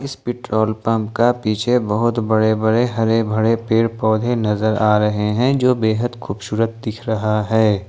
इस petrol pump का पीछे बहुत बड़े बड़े हरे भरे पेड़ पौधे नजर आ रहे हैं जो बेहद खूबसूरत दिख रहा है।